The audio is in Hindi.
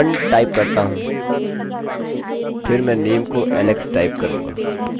फिर मैं my name is alex type करूंगा